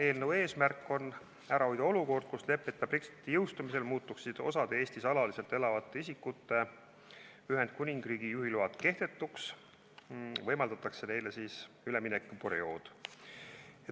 Eelnõu eesmärk on ära hoida olukord, kus leppeta Brexiti jõustumisel muutuks osa Eestis alaliselt elavate isikute Ühendkuningriigi juhilubadest kehtetuks, seega antakse selleks üleminekuperiood.